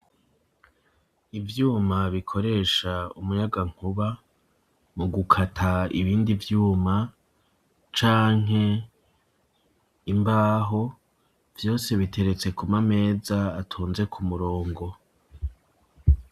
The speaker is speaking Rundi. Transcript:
Ivyuma bikoresha umunyagankuba, mu gukata ibindi vyuma canke imbaho, vyose biteretse ku mameza atonze ku murongo.